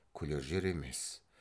күлер жер емес